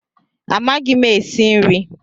Amaghị m esi nri